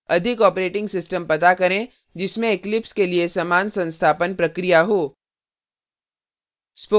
अधिक operating system पता करें जिसमें eclipse के लिए समान संस्थापन प्रक्रिया हो